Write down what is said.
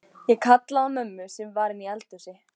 Ég kallaði á mömmu sem var inni í eldhúsi.